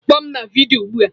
Kpọọ m na vidiyo ugbu a!